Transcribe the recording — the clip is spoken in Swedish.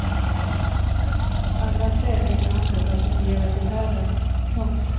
Alla fem i bandet har signerat gitarren. punkt